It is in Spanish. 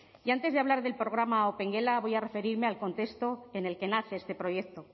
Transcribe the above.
y antes de hablar del programa opengela voy a referirme al contexto en el que nace este proyecto